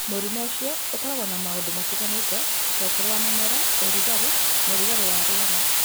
Mũrimũ ũcio ũkoragwo na maũndũ matiganĩte, ta ũkũrũ wa mĩmera, ũrugarĩ, na ũrugarĩ wa rĩera.